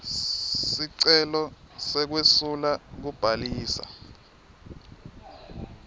sicelo sekwesula kubhalisa